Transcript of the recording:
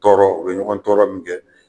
Tɔɔrɔ o ye ɲɔgɔn tɔɔrɔ min kɛ